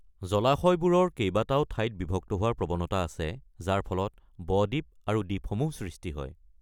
জলাশয়বোৰৰ কেইবাটাও ঠাইত বিভক্ত হোৱাৰ প্ৰৱণতা আছে যাৰ ফলত ব-দ্বীপ আৰু দ্বীপসমূহ সৃষ্টি হয়।